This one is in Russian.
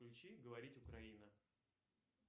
включи говорить украина